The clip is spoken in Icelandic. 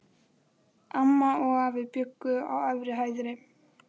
Amma og afi bjuggu á efri hæðinni.